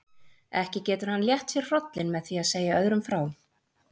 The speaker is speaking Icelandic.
Ekki getur hann létt sér hrollinn með því að segja öðrum frá.